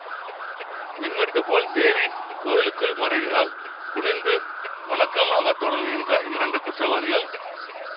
மின்வெட்டுப்போல் தேவி கோவிலுக்குள் மறைகிறாள் குனிந்து வணக்கமாகத் தொடருகின்ற இரண்டு குற்றவாளிகள்